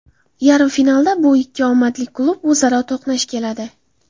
Yarim finalda bu ikki omadli klub o‘zaro to‘qnash keladi.